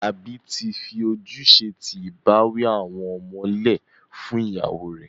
Àlabí tì fí òjúṣẹ̀ tì ìbàwí àwọn ọmọ lẹ fún iyàwọ rè.